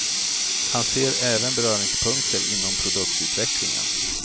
Han ser även beröringspunkter inom produktutvecklingen.